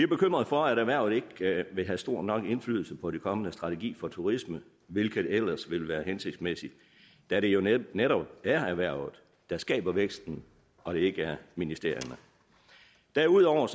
bekymrede for at erhvervet ikke vil have stor nok indflydelse på den kommende strategi for turisme hvilket ellers vil være hensigtsmæssigt da det jo netop netop er erhvervet der skaber væksten og ikke ministerierne derudover